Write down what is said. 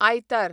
आयतार